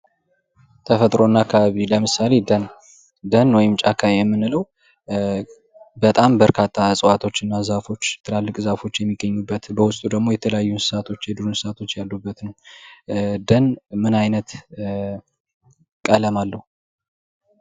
ተፈጥሮና አካባቢ ለምሳሌ ደን ደን ወይም ጫካ የሚለው በጣም በርካታ እፅዋቶችና ዛፎች ትላልቅ ዛፎች የሚገኙበት በውስጥ ደግሞ የተለያዩ እንስሳቶች የዱር እንስሳቶች ያሉበት ነው። ደን ምን አይነት ቀለም አለው።